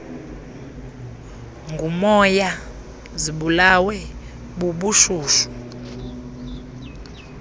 ngumoya zibulawe bubushushu